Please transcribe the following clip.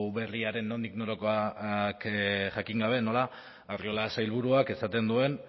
berriaren nondik norakoak jakin gabe nola arriola sailburuak esaten duen